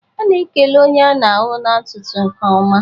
A na-ekele onye a na-ahụ n'ụtụtụ nke ọma